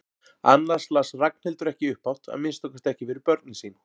Annars las Ragnhildur ekki upphátt, að minnsta kosti ekki fyrir börnin sín.